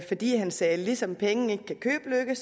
fordi han sagde at ligesom penge ikke kan købe lykke